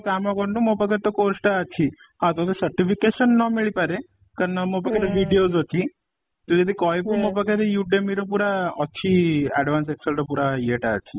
କାମ କରୁନୁ, ମୋ ପାଖରେ ତ course ଟା ଅଛି ହଁ ତତେ certification ନ ମିଳି ପାରେ କାରଣ ମୋ ପାଖରେ videos ଅଛି, ତୁ ଯଦି କହିବୁ ମୋ ପାଖରେ Udemy ର ପୁରା ଅଛି advance excel ର ପୁରା ଇୟେ ଟା ଅଛି